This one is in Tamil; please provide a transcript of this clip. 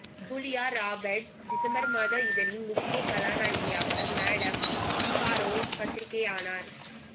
ஜூலியா ராபர்ட்ஸ் டிசம்பர் மாத இதழின் முக்கிய கதாநாயகியாக மேடம் பிகாரோ பத்திரிகை ஆனார்